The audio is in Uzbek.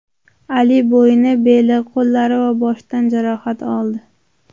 Ali bo‘yni, beli, qo‘llari va boshidan jarohat oldi.